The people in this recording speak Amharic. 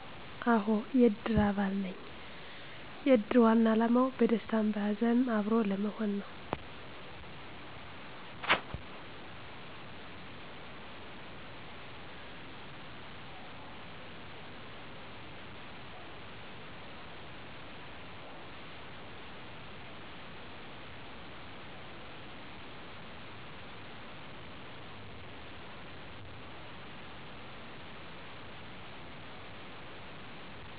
አሆ የእድር አባል ነኝ የእድር ዋና አላማው በደስታም በሀዘንም አብሮ ለመሆን ነው